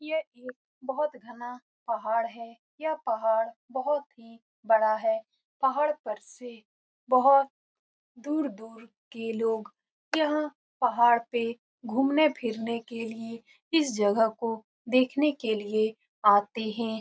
ये एक बहुत घना पहाड़ है। यह पहाड़ बहुत ही बड़ा है। पहाड़ पर से बहुत दूर-दूर के लोग यहाँ पहाड़ पे घुमने फिरने के लिए इस जगह को देखने के लिए आते है।